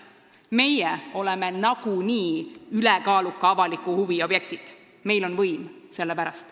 Meie oleme nagunii ülekaaluka avaliku huvi objektid, sellepärast et meil on võim.